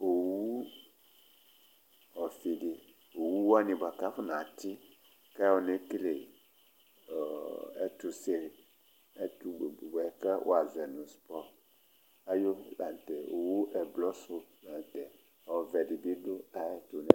Owu ɔfi di, owu wani bʋakʋ afɔna ti kʋ ayɔ nekele ɛtuse yɛ bʋakʋ wazɔ nʋ sport ayʋ owu la ntɛ Owu ɛblɔ su la ntɛ Ɔvɛ dì bi du ayʋɛtu